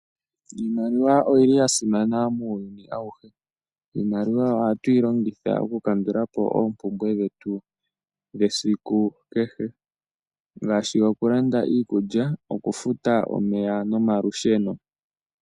Iimaliwa oyili ya simana muuyuni awuhe. Iimaliwa ohatu yi longitha oku kandulapo oompumbwe dhetu dhesiku kehe ngaashi okulanda okulanda iikulya, okufuta omeya nomalusheno.